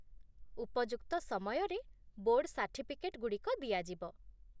ଉପଯୁକ୍ତ ସମୟରେ board certificate ଗୁଡ଼ିକ ଦିଆଯିବ